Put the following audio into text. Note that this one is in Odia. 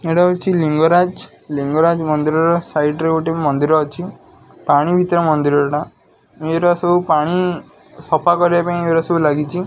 ଏଇଟା ହଉଛି ଲିଙ୍ଗରାଜ ଲିଙ୍ଗରାଜ ମନ୍ଦିରର ସାଇଡି ରେ ଗୋଟେ ମନ୍ଦିର ଅଛି ପାଣି ଭିତରେ ମନ୍ଦିରଟା ୟେରା ସବୁ ପାଣି ସଫା କରିବାପାଇଁ ୟେରା ସବୁ ଲାଗିଛି।